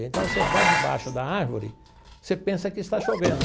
Então, você vai debaixo da árvore, você pensa que está chovendo.